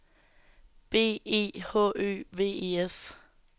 B E H Ø V E S